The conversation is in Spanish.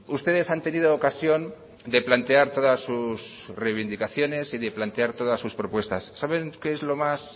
ustedes han tenido ocasión de plantear todas sus reivindicaciones y de plantar todas sus propuestas saben qué es lo más